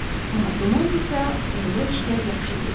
Amma dumandadırsa, onda işlər yaxşı deyil.